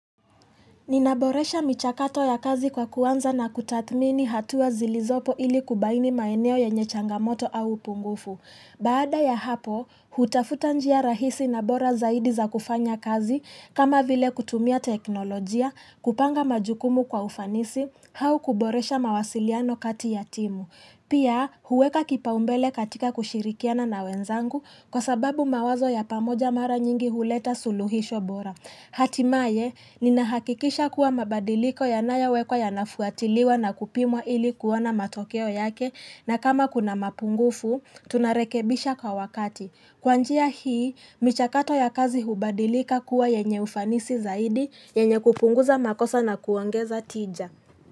Ninaboresha michakato ya kazi kwa kuanza na kutathmini hatuwa zilizopo ili kubaini maeneo yenyechangamoto au pungufu. Baada ya hapo, hutafuta njia rahisi na bora zaidi za kufanya kazi, kama vile kutumia teknolojia, kupanga majukumu kwa ufanisi, au kuboresha mawasiliano kati yatimu. Pia, huweka kipaumbele katika kushirikiana na wenzangu kwa sababu mawazo ya pamoja mara nyingi huleta suluhisho bora. Hatima ye, nina hakikisha kuwa mabadiliko ya nayo wekwa yanafuatiliwa na kupimwa ili kuwana matokeo yake na kama kuna mapungufu, tunarekebisha kwa wakati. Kwanjia hii, michakato ya kazi hubadilika kuwa yenye ufanisi zaidi, yenye kupunguza makosa na kuongeza tija.